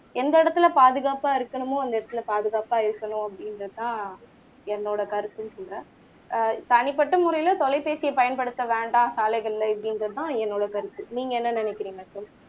எந்த இடத்துல பாதுகாப்பா இருக்கணுமோ அந்த இடத்துல பாதுகாப்பா இருக்கணும் அப்படிங்குறது தான் என்னோட கருத்துன்னு சொல்றேன் ஆஹ் தனிப்பட்ட முறையில தொலைபேசிய பயன்படுத்த வேண்டாம் சாலைகள்ல இப்படிங்குறது தான் என்னோட கருத்து நீங்க என்ன நினைக்குறீங்க